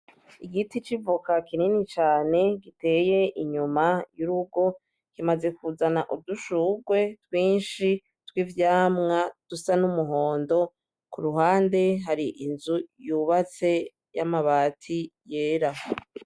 Igiti c'ivoka kinini cane, giteye inyuma y'urugo kimaze kuzana udushugwe twinshi tw'ivyamwa dusa n'umuhondo kuruhande hari inzu yubatse y'amabati yera.